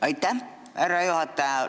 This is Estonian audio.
Aitäh, härra juhataja!